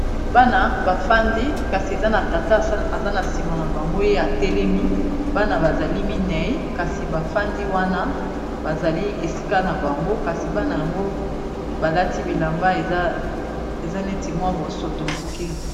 Bana bafandi kasi eza na tata eza na nsima na bango ye ya telemi bana bazali minei kasi bafandi wana bazali esika na bango kasi bana yango balati bilamba eza neti mwa bosoto moke.